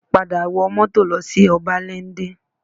Padà wọ mọ́tò lọ sí Ọbáléndé